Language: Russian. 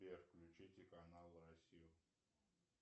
сбер включите канал россию